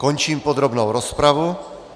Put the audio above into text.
Končím podrobnou rozpravu.